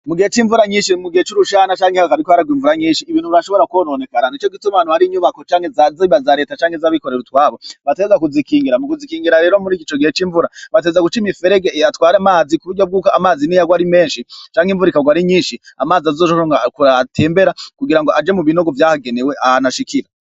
Mu gihe c'imvura nyinshi mu gihe c'urushana canke ha kabitwararwa imvura nyinshi ibintu brashobora kubononekara ni co gitumanu hari inyubako canke zazebazaleta canke z'abikorera utwabo bateza kuzikingira mu kuzikingira rero muri igico gihe c'imvura bateza gucaima iferege atware amazi ku buryo bw'uko amazi ni yagwe ari menshi canke imvuraikarwa ari nyinshi amazi azoshobora ngo kuratembera kugira ngo aje mu binogo vyahagenewe ahanashikiye.